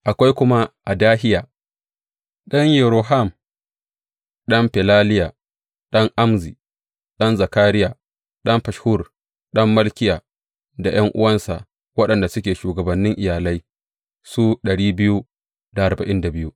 Akwai kuma Adahiya ɗan Yeroham, ɗan Felaliya, ɗan Amzi, ɗan Zakariya, ɗan Fashhur, ɗan Malkiya, da ’yan’uwansa waɗanda suke shugabannin iyalai, su